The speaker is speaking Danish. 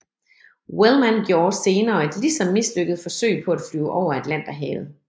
Wellmann gjorde senere et lige så mislykket forsøg på at flyve over Atlanterhavet